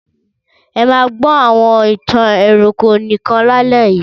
Ẹ máa gbọ́ àwọn ìtàn ẹranko nìkan lálẹ́ yìí!